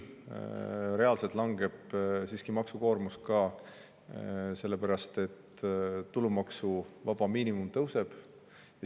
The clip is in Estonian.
Reaalselt langeb siiski ka maksukoormus, sellepärast et tulumaksuvaba miinimum tõuseb.